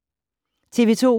TV 2